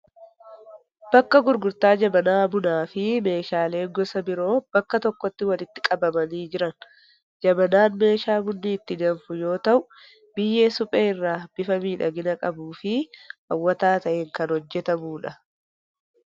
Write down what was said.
Bakka gurgurtaa Jabanaa bunaa fi meeshaalee gosa biroo bakka tokkotti walitti qabamanii jiran. Jabanaan meeshaa bunni itti danfu yoo ta'u biyyee suphee irraa bifa miidhagina qabuu fi hawwataa ta'een kan hojjetamudha.